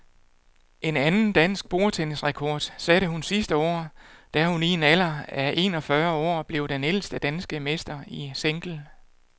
En anden dansk bordtennisrekord satte hun sidste år, da hun i en alder af en og fyrre år blev den ældste danske mester i single.